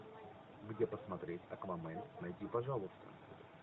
где посмотреть аквамен найди пожалуйста